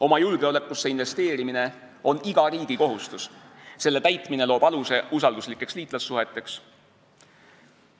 Oma julgeolekusse investeerimine on iga riigi kohustus, selle täitmine loob aluse usalduslikeks liitlassuheteks.